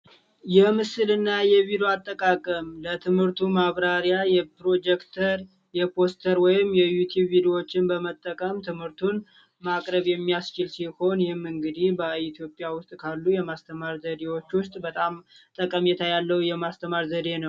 የምስልና የቢሮ አጠቃቀም ለትምህርቱ ማብራሪያ የፕሮጀክተር የፖስተር ወይም የዩቲዩብዎችን በመጠቀም ትምህርቱን ማቅረብ የሚያስችል ሲሆን እንግዲህ በኢትዮጵያ ውስጥ ካሉ የማስተማር ዘዴዎች ውስጥ በጣም ጠቀሜታ ያለው የማስተማር ዘዴ ነው